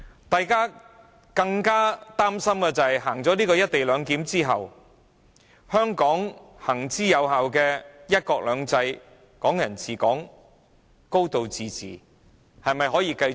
大家更擔心實行"一地兩檢"後，香港行之有效的"一國兩制"、"港人治港"、"高度自治"無法繼續。